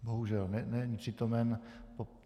Bohužel není přítomen.